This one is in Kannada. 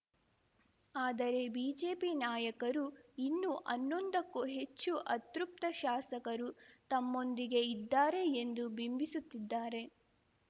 ಆದರೆ ಬಿಜೆಪಿ ನಾಯಕರು ಇನ್ನೂ ಹನ್ನೊಂದಕ್ಕೂ ಹೆಚ್ಚು ಅತೃಪ್ತ ಶಾಸಕರು ತಮ್ಮೊಂದಿಗೆ ಇದ್ದಾರೆ ಎಂದು ಬಿಂಬಿಸುತ್ತಿದ್ದಾರೆ